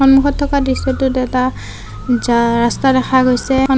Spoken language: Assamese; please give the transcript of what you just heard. সন্মুখত থকা দৃশ্যটোত এটা জা ৰাস্তা দেখা গৈছে।